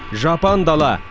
жапан дала